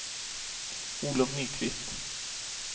Olov Nyqvist